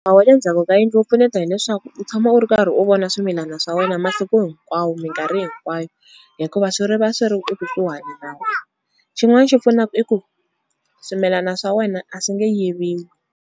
Wa le ndzhaku ka yindlu wu pfuneta hileswaku u tshama u ri karhi u vona swimilana swa wena masiku hinkwawo minkarhi hinkwayo, hikuva swi ri va swi ri ku suhani na wena xin'wana xi pfunaku i ku swimilana swa wena a swi nge yiviwi.